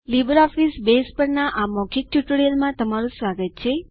LibreOffice Base પરના આ મૌખિક ટ્યુટોરીયલમાં તમારું સ્વાગત છે